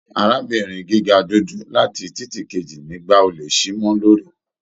Arábìnrin gíga dúdú láti titi keji nígba olè sí mọ lórí